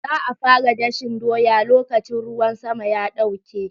Za a fara dashen doya lokacin ruwan sama ya ɗauke.